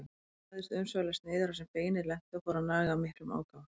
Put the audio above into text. Hann lagðist umsvifalaust niður þar sem beinið lenti og fór að naga af miklum ákafa.